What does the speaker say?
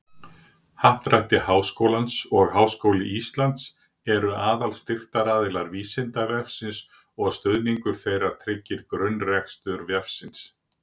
Happdrætti Háskólans og Háskóli Íslands eru aðalstyrktaraðilar Vísindavefsins og stuðningur þeirra tryggir grunnrekstur vefsins.